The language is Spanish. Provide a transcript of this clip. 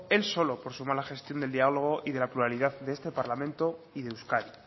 él solo por su mala gestión del diálogo y de la pluralidad de este parlamento y de euskadi